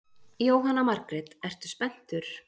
Jóhanna Margrét: Ertu spenntur?